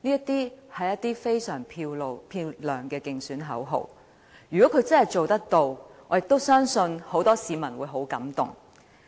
這是非常漂亮的競選口號，如果他真的做得到，我也相信很多市民會十分感動。